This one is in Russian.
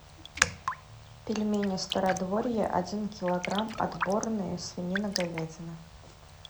пельмени стародворье один килограмм отборные свинина говядина